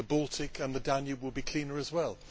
The Baltic and the Danube will be cleaner as well.